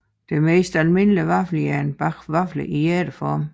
Det mest almindelige vaffeljern bager vafler i hjerteform